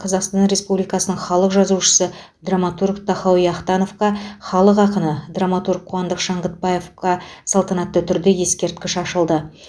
қазақстан республикасының халық жазушысы драматург тахауи ахтановқа халық ақыны драматург қуандық шаңғытбаевқа салтанатты түрде ескерткіш ашылды